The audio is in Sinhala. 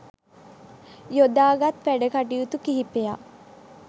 යොදාගත් වැඩකටයුතු කිහිපයක්